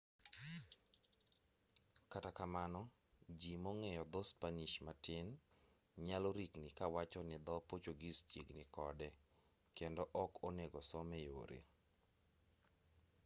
kata kamano ji mong'eyo dho spanish matin nyalo rikni kawacho ni dho portuguese chiegni kode kendo ok onego some yore